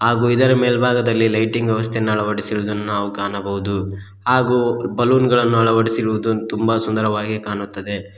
ಹಾಗು ಇದರ ಮೇಲ್ಭಾಗದಲ್ಲಿ ಲೈಟಿಂಗ್ ವ್ಯವಸ್ಥೆಯನ್ನು ಅಲವಡಿಸಿರುವುದನ್ನು ನಾವು ಕಾಣಬಹುದು ಹಾಗು ಬಲೂನ್ ಗಳನ್ನು ಅಳವಡಿಸಿರುವುದು ತುಂಬ ಸುಂದರವಾಗಿ ಕಾಣುತ್ತದೆ.